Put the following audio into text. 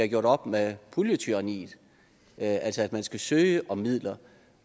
gjort op med puljetyranniet altså at man skal søge om midler